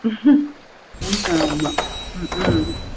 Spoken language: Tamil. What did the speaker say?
ஆமா ஹம் உம்